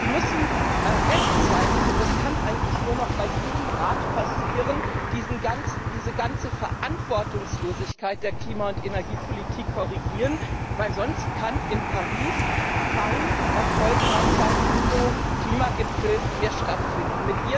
Sie müssen rechtzeitig und das kann eigentlich nur noch bei dieser Ratstagung passieren diese ganze Verantwortungslosigkeit der Klima und Energiepolitik korrigieren, denn sonst kann in Paris kein erfolgreicher UNO Klimagipfel mehr stattfinden.